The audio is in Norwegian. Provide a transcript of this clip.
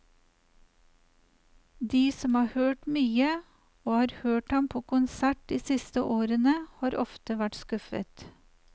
De som har hørt mye, og har hørt ham på konsert de siste årene, har ofte vært skuffet.